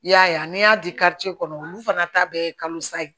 I y'a ye a n'i y'a di kɔnɔ olu fana ta bɛ ye kalosa ye